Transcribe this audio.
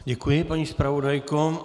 Děkuji, paní zpravodajko.